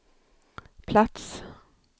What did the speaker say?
plats